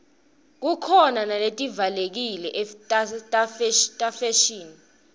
khukhona naletivalekile tefashini